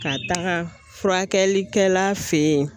Ka taga furakɛlikɛla fɛ yen